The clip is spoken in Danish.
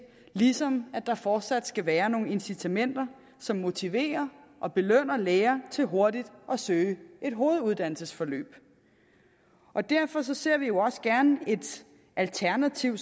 ligesom der fortsat skal være nogle incitamenter som motiverer og belønner læger til hurtigt at søge et hoveduddannelsesforløb derfor ser vi jo også gerne et alternativ